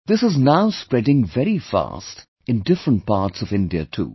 This is now spreading very fast in different parts of India too